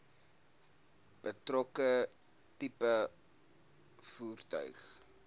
betrokke tipe voertuig